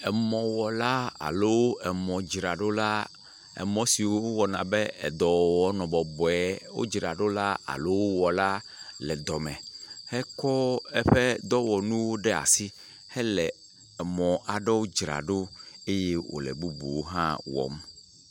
Mɔwɔla alo mɔdzraɖola, emɔ siwo wɔna bɔ dɔwɔwɔ nɔ bɔbɔe, wodzraɖola alo wɔla le dɔme hekɔ eƒe dɔwɔnuwo ɖe asi hele mɔ aɖewo dzram ɖo eye wole bubuwo hã wɔm.